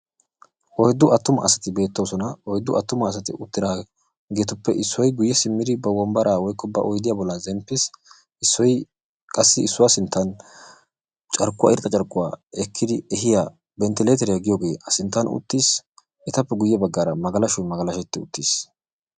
Oyddu attuma asati beettoosona. Oyddu attuma asati uttidaageetuppe issoy guyye simmidi ba wombbaraa/ba oydiya bolla zemppiis. Issoy qassi issuwa sinttan carkkuwa irxxa carkkuwa ekkiri ehiya bentteleeteriya giyogee eta sinttan uttiis. Etappe guyye baggaara magalasho magalashetti uttiis.